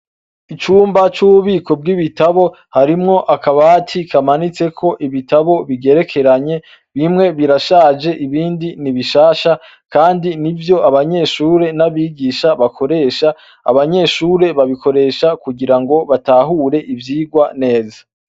Icumba c' ububiko bw' ibitabo harimwo akabati kamanitseko ibitabo bigerekeranye bimwe birashaje ibindi ni bishasha kandi n' ivyo abanyeshuri n' abigisha bakoresha abanyeshure babikoresha kugira ngo batahure ivyigwa neza.